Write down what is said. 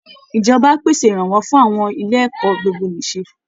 Ìjọba á pèsè ìrànwọ́ fún àwọn ilé ẹ̀kọ́ gbogbo-nìṣe